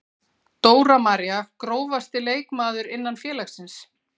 Dóra María Grófasti leikmaður innan félagsins?